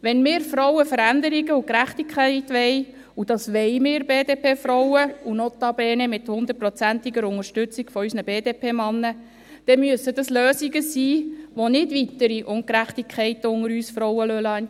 Wenn wir Frauen Veränderungen und Gerechtigkeit wollen – und wir BDP-Frauen wollen dies, notabene mit hundertprozentiger Unterstützung unserer BDP-Männer –, dann müssen es Lösungen sein, die nicht weitere Ungerechtigkeiten unter uns Frauen entstehen lassen.